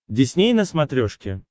дисней на смотрешке